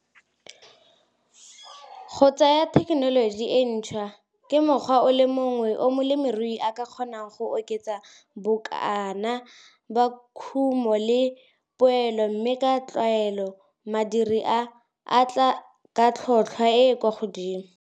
Go tsaya tekenoloji e ntšhwa ke mokgwa o le mongwe o molemirui a ka kgonang go oketsa bokana ba kumo le poelo mme ka tlwaelo madiredi a, a tla ka tlhotlhwa e e kwa godimo.